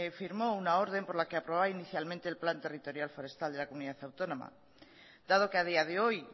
firmó una orden por la que aprobaba inicialmente el plan territorial forestal de la comunidad autónoma dado que a día de hoy